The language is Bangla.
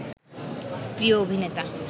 প্রিয় অভিনেতা